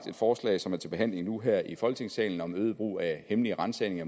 forslag som er til behandling nu her i folketingssalen om øget brug af hemmelige ransagninger